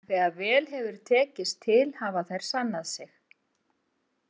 En þegar vel hefur tekist til hafa þær sannað sig.